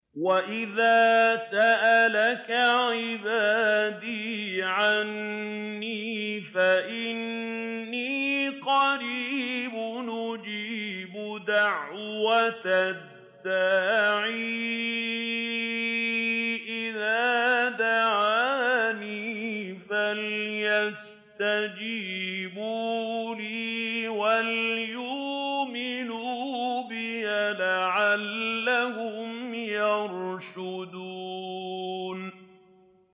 وَإِذَا سَأَلَكَ عِبَادِي عَنِّي فَإِنِّي قَرِيبٌ ۖ أُجِيبُ دَعْوَةَ الدَّاعِ إِذَا دَعَانِ ۖ فَلْيَسْتَجِيبُوا لِي وَلْيُؤْمِنُوا بِي لَعَلَّهُمْ يَرْشُدُونَ